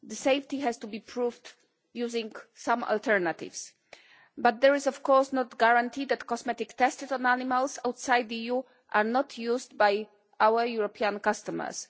The safety has to be proved using some alternatives, but there is of course no guarantee that cosmetics tested on animals outside the EU are not used by our European customers.